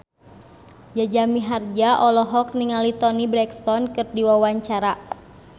Jaja Mihardja olohok ningali Toni Brexton keur diwawancara